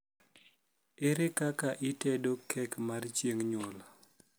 ere kaka itedo kek mar chieng nyuol